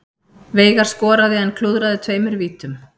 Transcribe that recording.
Veigar skoraði en klúðraði tveimur vítum